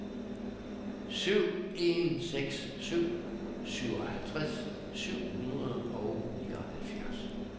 syv en seks syv syvoghalvtreds syv hundrede og nioghalvfjerds